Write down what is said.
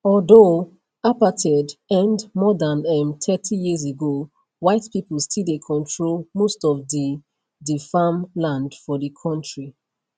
although apartheid end more dan um thirty years ago white pipo still dey control most of di di farm land for di kontri